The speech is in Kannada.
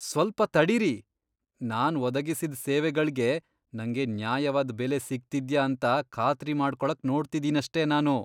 ಸ್ವಲ್ಪ ತಡೀರಿ, ನಾನ್ ಒದಗಿಸಿದ್ ಸೇವೆಗಳ್ಗೆ ನಂಗೆ ನ್ಯಾಯವಾದ್ ಬೆಲೆ ಸಿಗ್ತಿದ್ಯಾ ಅಂತ ಖಾತ್ರಿ ಮಾಡ್ಕೊಳಕ್ ನೋಡ್ತಿದೀನಷ್ಟೇ ನಾನು.